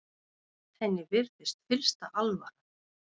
Henni virðist fyllsta alvara.